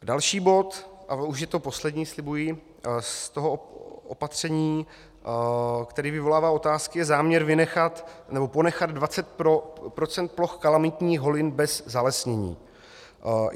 Další bod, a už je to poslední, slibuji, z toho opatření, které vyvolává otázky, je záměr ponechat 20 % ploch kalamitních holin bez zalesnění.